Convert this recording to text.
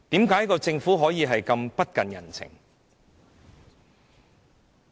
為何政府可以如此不近人情？